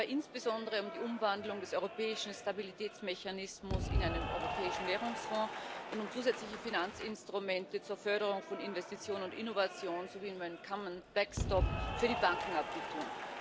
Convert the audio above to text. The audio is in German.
Es geht dabei insbesondere um die Umwandlung des Europäischen Stabilitätsmechanismus in einen Europäischen Währungsfonds und um zusätzliche Finanzinstrumente zur Förderung von Investition und Innovation sowie um einen für die Bankenabwicklung.